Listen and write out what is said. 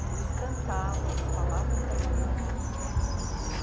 Eles cantavam, eles falavam italiano.